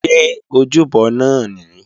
Ṣé ojúbọ náà nìí?